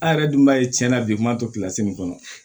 An yɛrɛ dun b'a ye tiɲɛ na bi maa to min kɔnɔ